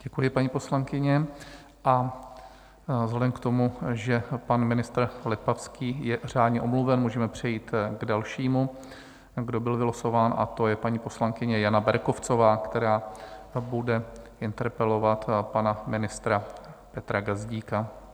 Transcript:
Děkuji, paní poslankyně, a vzhledem k tomu, že pan ministr Lipavský je řádně omluven, můžeme přejít k dalšímu, kdo byl vylosován, a to je paní poslankyně Jana Berkovcová, která bude interpelovat pana ministra Petra Gazdíka.